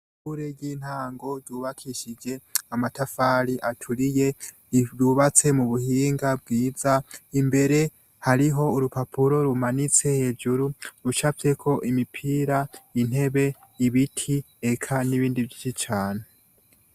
Ishure ry'intango yubakishije amatafari aturiye ryubatse m'ubuhinga bwiza imbere hariho urupapuro rumanitse hejuru rucapfyeko imipira, intebe, ibiti eka n'ibindi vyishi cane.